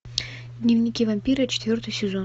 дневники вампира четвертый сезон